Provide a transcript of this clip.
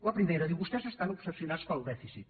la primera diu vostès estan obsessionats pel dèficit